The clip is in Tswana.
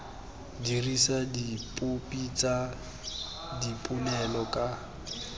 dirisa dipopi tsa dipolelo ka